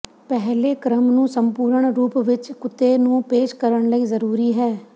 ਪਹਿਲੇ ਕ੍ਰਮ ਨੂੰ ਸੰਪੂਰਣ ਰੂਪ ਵਿੱਚ ਕੁੱਤੇ ਨੂੰ ਪੇਸ਼ ਕਰਨ ਲਈ ਜ਼ਰੂਰੀ ਹੈ